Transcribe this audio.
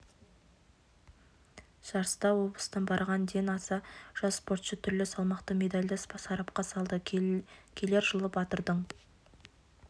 жарыста облыстан барған ден аса жас спортшы түрлі салмақта медальді сарапқа салды келер жылы батырдың